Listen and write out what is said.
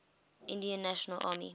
indian national army